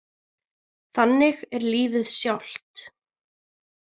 Þannig er lífið sjálft.